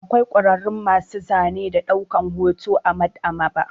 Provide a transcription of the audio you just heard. Akwai kwararru masu zane da ɗaukan hoto a Maɗ'aba'a.